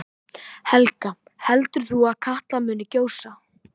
Helga: Heldur þú að Katla muni gjósa?